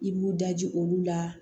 I b'u daji olu la